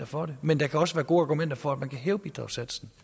for det men der kan også være gode argumenter for at man kan hæve bidragssatsen